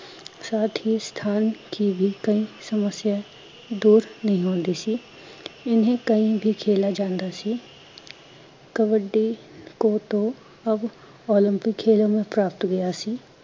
ਸਾਥ ਹੀਂ ਸਥਾਨ ਕੀ ਬੀ ਕੋਈ ਸਮੱਸਿਆ, ਦੂਰ ਨਹੀਂ ਹੁੰਦੀ ਸੀ, ਇਨਹੇ ਕਹੀ ਬੀ ਖੇਲ ਜਾਂਦਾ ਸੀ ਕਬੱਡੀ ਖੋ ਖੋ ਅਬ ਓਲਪਿਕ ਖੇਲੋ ਮੈਂ ਪ੍ਰਬਾਵੀਟ ਹੋਂਗੀਆ ਸੀ